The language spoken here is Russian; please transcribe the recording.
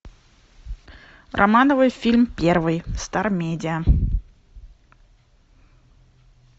романовы фильм первый стар медиа